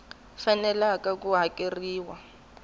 faneleke ku hakeriwa hi ku